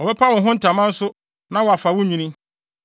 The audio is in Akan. Wɔbɛpa wo ho ntama nso na wɔafa wo nnwinne.